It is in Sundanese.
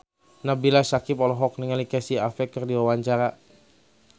Nabila Syakieb olohok ningali Casey Affleck keur diwawancara